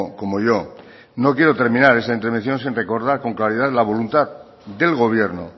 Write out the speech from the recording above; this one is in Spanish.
como yo no quiero terminar esta intervención sin recordar con claridad la voluntad del gobierno